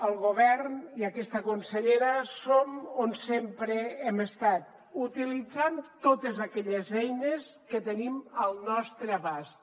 el govern i aquesta consellera som on sempre hem estat utilitzant totes aquelles eines que tenim al nostre abast